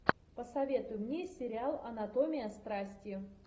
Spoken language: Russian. посоветуй мне сериал анатомия страсти